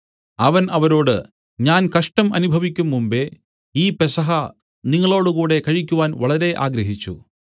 അവൻ അവരോട് ഞാൻ കഷ്ടം അനുഭവിക്കുംമുമ്പേ ഈ പെസഹ നിങ്ങളോടുകൂടെ കഴിക്കുവാൻ വളരെ ആഗ്രഹിച്ചു